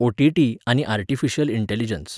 OTT. आनी artificial intelligence.